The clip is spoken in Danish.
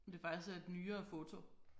Om det faktisk er et nyere foto